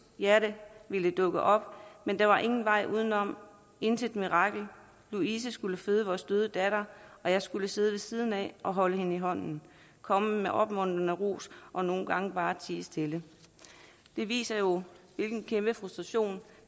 hjerte ville dukke op men der var ingen vej udenom intet mirakel louise skulle føde vores døde datter og jeg skulle sidde ved siden af og holde hende i hånden komme med opmuntrende ros og nogle gange bare tie stille det viser jo hvilken kæmpe frustration